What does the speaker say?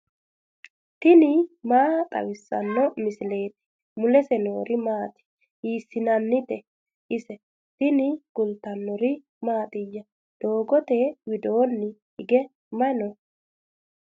tini maa xawissanno misileeti ? mulese noori maati ? hiissinannite ise ? tini kultannori mattiya? doogotte widoonni hige mayi nooya?